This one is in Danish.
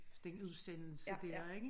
Den udsendelse dér ikke